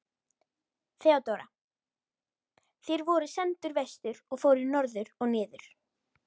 THEODÓRA: Þér voruð sendur vestur og fóruð norður og niður!